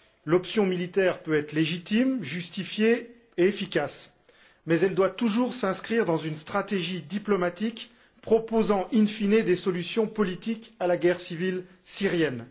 L'option militaire peut être légitime, justifiée et efficace, mais elle doit toujours s'inscrire dans une stratégie diplomatique proposant in fine des solutions politiques à la guerre civile syrienne.